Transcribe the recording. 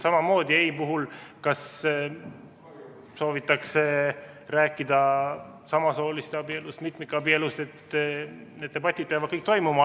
Samamoodi peavad ei puhul need debatid, kui soovitakse rääkida samasooliste abieludest, mitmikabielust, kõik toimuma.